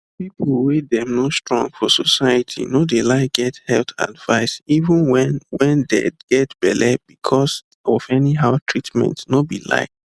people wey them no strong for society no dey like get health advice even wen wen dey get belle because of anyhow treatmentno be lie